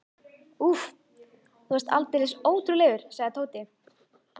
Úff, þú varst aldeilis ótrúlegur, sagði Tóti.